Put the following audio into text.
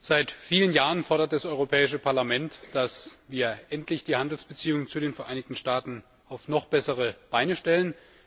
Seit vielen Jahren fordert das Europäische Parlament, dass wir endlich die Handelsbeziehungen zu den Vereinigten Staaten auf noch bessere Beine stellen.